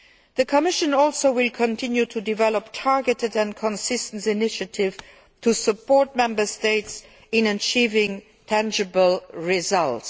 The Commission will also continue to develop targeted and consistent initiatives to support Member States in achieving tangible results.